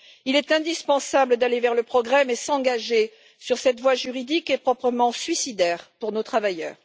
Il est indispensable d'aller vers le progrès, mais s'engager sur cette voie juridique est proprement suicidaire pour nos travailleurs.